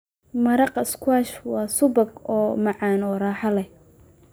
Maraq squash subagga waa macaan oo raaxo leh.